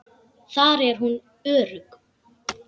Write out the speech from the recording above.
Þar er hún örugg.